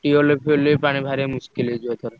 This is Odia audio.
Tubewell ଫିଅଲରୁ ବି ପାଣି ବାହାରିବା ହେଇଯିବ ଏଥର।